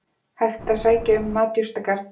Hægt að sækja um matjurtagarð